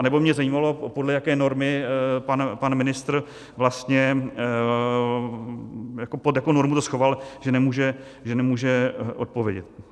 Anebo mě zajímalo, podle jaké normy pan ministr vlastně, pod jakou normu to schoval, že nemůže odpovědět.